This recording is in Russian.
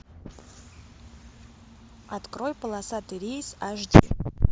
открой полосатый рейс аш ди